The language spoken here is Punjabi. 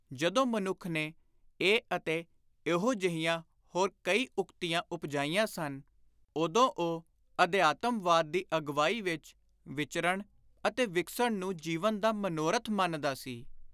ਜਦੋਂ ਮਨੁੱਖ ਨੇ ਇਹ ਅਤੇ ਇਹੋ ਜਿਹੀਆਂ ਹੋਰ ਕਈ ਉਕਤੀਆਂ ਉਪਜਾਈਆਂ ਸਨ, ਉਦੋਂ ਉਹ ਅਧਿਆਤਮਵਾਦ ਦੀ ਅਗਵਾਈ ਵਿਚ ਵਿਚਰਣ ਅਤੇ ਵਿਕਸਣ ਨੂੰ ਜੀਵਨ ਦਾ ਮਨੋਰਥ ਮੰਨਦਾ ਸੀ।